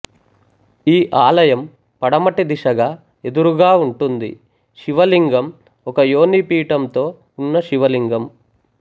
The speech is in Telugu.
ఈ ఆలయం పడమటి దిశగా ఎదురుగా ఉంటుంది శివ లింగం ఒక యోనిపీఠంతో ఉన్న శివ లింగం